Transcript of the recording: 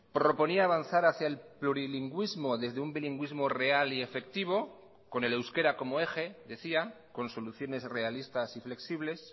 proponía avanzar hacia el plurilingüismo desde un bilingüismo real y efectivo con el euskera como eje decía con soluciones realistas y flexibles